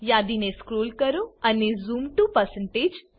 યાદીને scroll કરો અને zoom to